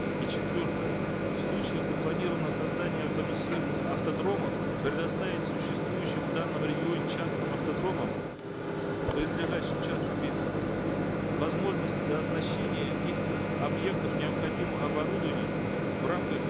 и четвертое в случаях запланированного автоматизированных автодромов предоставить существующим в данном регионе частным автодромам принадлежащим частным лицам возможность дооснащения их объектов необходимым оборудованием в рамках